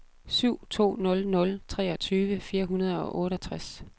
syv to nul nul treogtyve fire hundrede og otteogtres